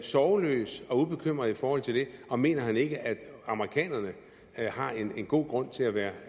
sorgløs og ubekymret i forhold til det og mener han ikke at amerikanerne har en god grund til at være